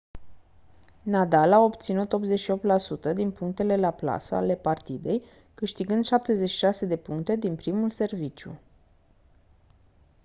nadal a obținut 88% din punctele la plasă ale partidei câștigând 76 de puncte din primul serviciu